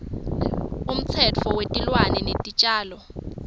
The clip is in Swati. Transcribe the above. umtsetfo wetilwane netitjalo